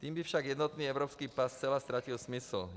Tím by však jednotný evropský pas zcela ztratil smysl.